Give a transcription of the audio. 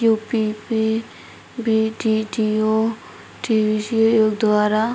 UP पे BTTO. द्वारा --